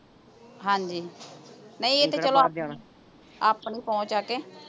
ਹਾਂਜੀ ਨਹੀਂ ਇਹ ਤੇ ਚਲੋ ਆਪਣੀ ਆਪਣੀ ਪਹੁੰਚ ਆ ਕੇ